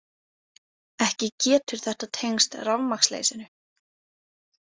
Ekki getur þetta tengst rafmagnsleysinu.